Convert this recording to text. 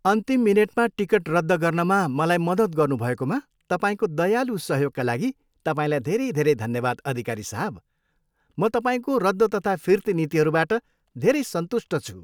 अन्तिम मिनेटमा टिकट रद्द गर्नमा मलाई मद्दत गनुभएकोमा तपाईँको दयालु सहयोगका लागि तपाईँलाई धेरै धेरै धन्यवाद अधिकारी साहब, म तपाईँको रद्द तथा फिर्ती नीतिहरूबाट धेरै सन्तुष्ट छु।